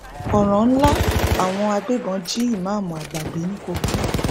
ọràn ńlá àwọn agbébọn jí ìmáàmù àgbà gbé ní kogi